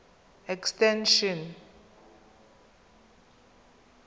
extension